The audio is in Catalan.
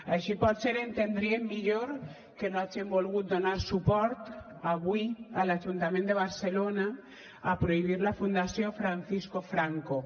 així potser entendríem millor que no hagin volgut donar suport avui a l’ajuntament de barcelona a prohibir la fundació francisco franco